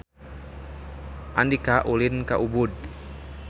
Andika ulin ka Ubud